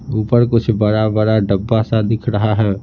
ऊपर कुछ बड़ा-बड़ा डब्बा सा दिख रहा है।